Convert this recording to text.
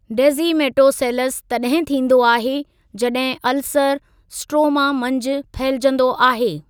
Descemetoceles तॾहिं थींदो आहे जॾहिं अल्सरु स्ट्रोमा मंझि फहिलिजंदो आहे।